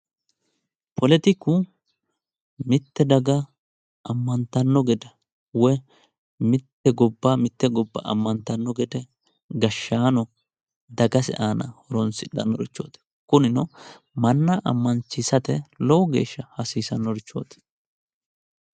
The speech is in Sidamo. poletiku mitte daga ammantanno gede woyi mitte gobba mitte gobba ammantanno gede gashshaano dagase aana horonsidhanorichooti kunino manna amma'siisate lowo geeshsha hasiisannorichooti.